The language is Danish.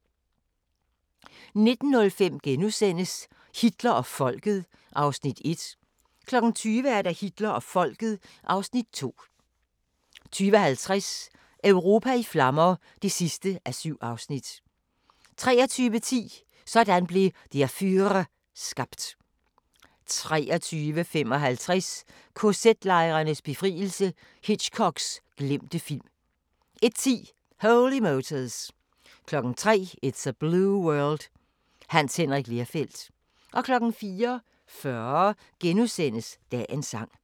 19:05: Hitler og Folket (Afs. 1)* 20:00: Hitler og Folket (Afs. 2) 20:50: Europa i flammer (7:7) 23:10: Sådan blev Der Führer skabt 23:55: KZ-lejrenes befrielse – Hitchcocks glemte film 01:10: Holy Motors 03:00: It's A Blue World – Hans Henrik Lerfeldt 04:40: Dagens Sang *